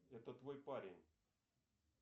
это твой парень